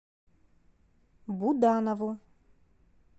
буданову